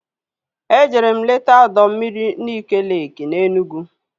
Ejere m leta ọdọ mmiri Nike leeki na Enugwu